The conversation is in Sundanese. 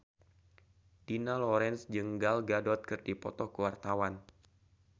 Dina Lorenza jeung Gal Gadot keur dipoto ku wartawan